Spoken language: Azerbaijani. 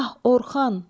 Ah, Orxan!